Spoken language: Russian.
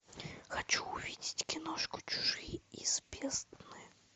хочу увидеть киношку чужие из бездны